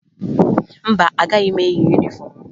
Mba, agaghị m eyi yunifọmụ m